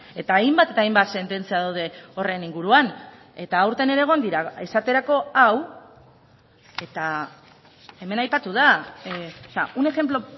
eta hainbat eta hainbat sententzia daude horren inguruan eta aurten ere egon dira esaterako hau eta hemen aipatu da un ejemplo